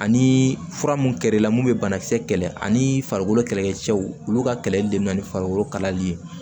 Ani fura mun kɛr'e la mun bɛ banakisɛ kɛlɛ ani farikolo kɛlɛkɛcɛw olu ka kɛlɛli de bɛ na ni farikolo kalayali ye